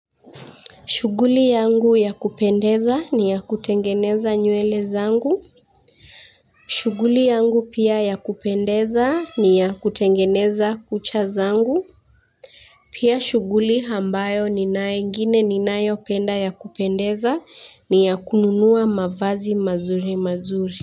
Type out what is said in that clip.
Shuguli yangu ya kupendeza ni ya kutengeneza nywele zangu. Shuguli yangu pia ya kupendeza ni ya kutengeneza kucha zangu. Pia shuguli hambayo ni nae ingine ni nayo penda ya kupendeza ni ya kununua mavazi mazuri mazuri.